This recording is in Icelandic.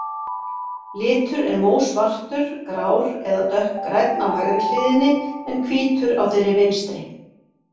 Litur er mósvartur, grár eða dökkgrænn á hægri hliðinni, en hvítur á þeirri vinstri.